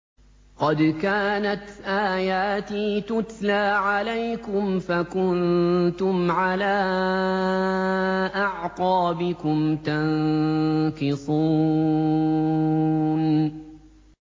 قَدْ كَانَتْ آيَاتِي تُتْلَىٰ عَلَيْكُمْ فَكُنتُمْ عَلَىٰ أَعْقَابِكُمْ تَنكِصُونَ